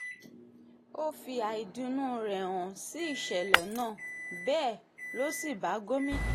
ó fi àìdùnnú rẹ̀ hàn sí ìṣẹ̀lẹ̀ náà bẹ́ẹ̀ ló sì bá gómìnà àtàwọn èèyàn ìpínlẹ̀ èkó kẹ́dùn